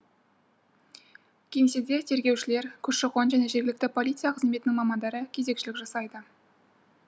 кеңседе тергеушілер көші қон және жергілікті полиция қызметінің мамандары кезекшілік жасайды